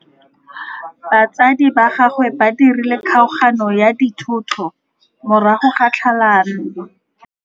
Batsadi ba gagwe ba dirile kgaoganyô ya dithoto morago ga tlhalanô.